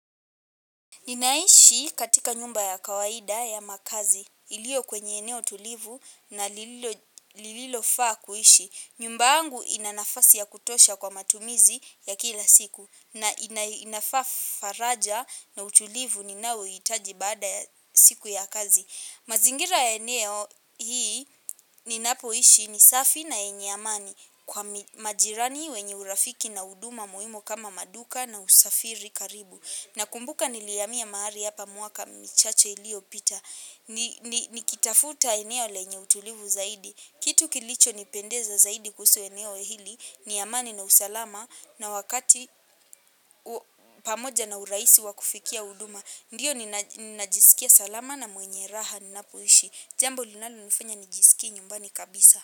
Ninaishi katika nyumba ya kawaida ya makazi iliyo kwenye eneo tulivu na lililo faa kuishi. Nyumba yangu ina nafasi ya kutosha kwa matumizi ya kila siku na inafaa faraja na utulivu ninaouhitaji baada siku ya kazi. Mazingira ya eneo hii ninapoishi ni safi na yenye amani kwa majirani wenye urafiki na huduma muhimu kama maduka na usafiri karibu. Na kumbuka nilihamia mahali hapa miaka michache iliyo pita. Nikitafuta eneo lenye utulivu zaidi kitu kilicho nipendeza zaidi kuhusu eneo hili ni amani na usalama na wakati pamoja na urahisi wakufikia huduma. Ndiyo ninajisikia salama na mwenye raha ninapoishi. Jambo linalo nifanya nijisikie nyumbani kabisa.